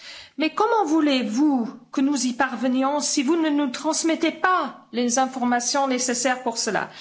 Mais comment voulez vous que nous y parvenions si vous ne nous transmettez pas les informations nécessaires pour cela?